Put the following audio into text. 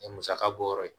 Ni musaka bɔ yɔrɔ ye